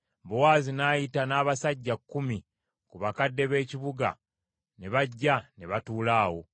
Bowaazi n’ayita n’abasajja kkumi ku bakadde b’ekibuga ne bajja ne batuula awo.